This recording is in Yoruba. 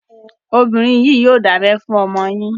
Obìnrin yìí yòò dábẹ fún ọmọ yín.